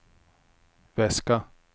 väska